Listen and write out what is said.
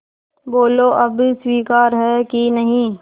बोलो अब स्वीकार है कि नहीं